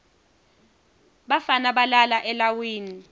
bafana balala elawini